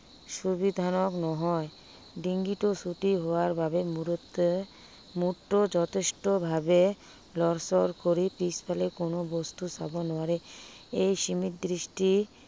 সুবিধাজনক নহয়। ডিঙিটো ছুটি হোৱাৰ বাবে মুঠতে মূৰতো যথেষ্টভাৱে লৰচৰ কৰি পিছফালে কোনো বস্তু চাব নোৱাৰে। এই সীমিত দৃষ্টি